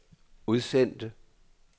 udsendte